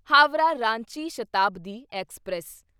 Howrah Ranchi Shatabdi express